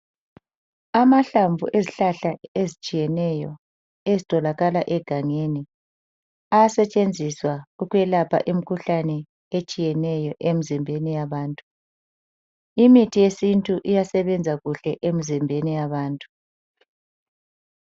Amahlamvu ezihlahla ezitshiyeneyo ezitholakala egangeni ayasetshenziswa ukwelapha imikhuhlane etshiyeneyo emizimbeni yabantu. Imithi yesintu iyelapha kuhle emizimbeni yabantu.